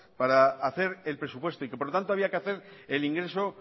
para hacer el presupuesto y que por lo tanto había que hacer el ingreso